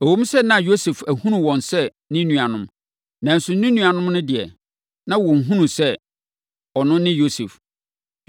Ɛwom sɛ na Yosef ahunu wɔn sɛ ne nuanom, nanso ne nuanom no deɛ, na wɔnhunuu sɛ, ɔno ne Yosef.